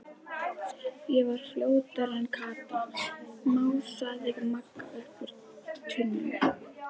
Ég var fljótari en Kata, másaði Magga upp úr tunnunni.